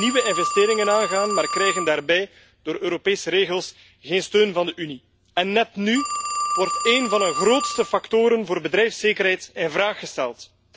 Ze willen nieuwe investeringen aangaan, maar krijgen daarbij, door Europese regels, geen steun van de Unie. En net nu wordt één van hun grootste factoren voor bedrijfszekerheid in vraag gesteld.